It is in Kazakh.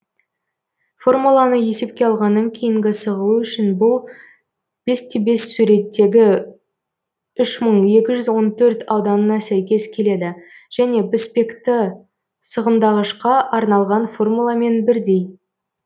формуланы есепке алғаннан кейінгі сығылу үшін бұл бес те бес суреттегі үш мың екі жүз он төрт ауданына сәйкес келеді және піспекті сығымдағышқа арналған формуламен бірдей